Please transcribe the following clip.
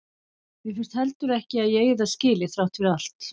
Mér finnst heldur ekki að ég eigi það skilið, þrátt fyrir allt.